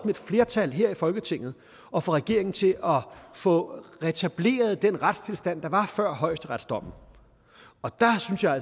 et flertal her i folketinget at få regeringen til at få retableret den retstilstand der var før højesteretsdommen og der synes jeg